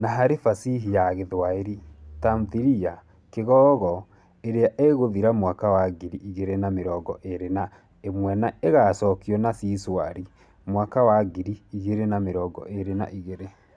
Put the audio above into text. Na harĩ Fasihi ya Gĩthwaĩri, Tamthilia 'Kigogo ' ĩrĩa ĩgũthira mwaka wa ngiri igĩrĩ na mĩrongo ĩrĩ na ĩmwe nĩ ĩgaacokio na 'Si Shwari ' mwaka wa ngiri igĩrĩ na mĩrongo ĩrĩ na igĩrĩ.